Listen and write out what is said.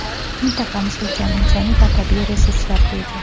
Mintaqamiz ulkan insoniy va tabiiy resurslarga ega.